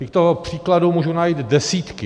Těchto příkladů můžu najít desítky.